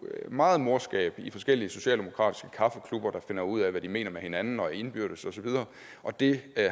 meget morskab i forskellige socialdemokratiske kaffeklubber der finder ud af hvad de mener med hinanden og indbyrdes og så videre og det